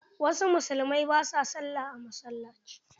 Wasu musulmai ba su Sallah a masalaci.